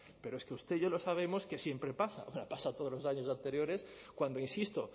pero es que usted y yo lo sabemos que siempre pasa o sea pasa todos los años anteriores cuando insisto